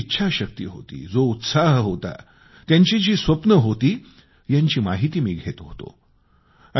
त्यांच्यामध्ये जी इच्छाशक्ती होती जो उत्साह होता त्यांची जी स्वप्ने होती यांची माहिती मी घेत होतो